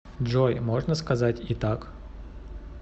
джой можно сказать и так